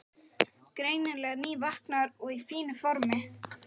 Greinilega nývaknaður og í fínu formi.